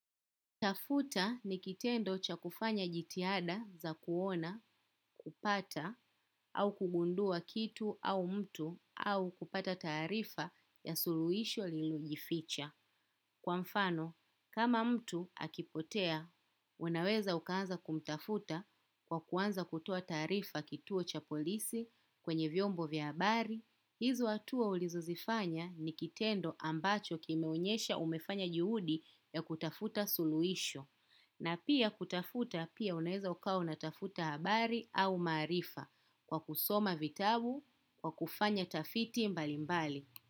Tafuta ni kitendo cha kufanya jitihada za kuona, kupata, au kugundua kitu au mtu, au kupata taarifa ya suluhisho lililojificha. Kwa mfano kama mtu akipotea unaweza ukaanza kumtafuta kwa kuanza kutoa taarifa kituo cha polisi kwenye vyombo vya habari. Hizo hatua ulizozifanya ni kitendo ambacho kimeonyesha umefanya juhudi ya kutafuta suluisho. Na pia kutafuta pia unaeza ukawa unatafuta habari au maarifa kwa kusoma vitabu kwa kufanya tafiti mbali mbali.